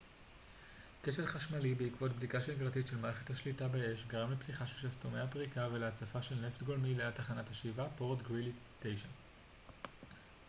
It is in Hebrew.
כשל חשמלי בעקבות בדיקה שגרתית של מערכת השליטה באש גרם לפתיחה של שסתומי הפריקה ולהצפה של נפט גולמי ליד תחנת השאיבה פורט גרילי 9